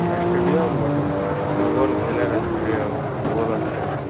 Stadium বটে football খেলার stadium football আছে।